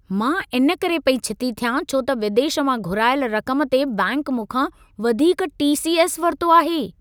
मां इन करे पेई छिती थियां छो त विदेश मां घुराइल रक़म ते बैंक मूंखा वधीक टी.सी.एस. वरितो आहे।